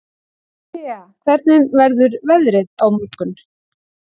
Thea, hvernig verður veðrið á morgun?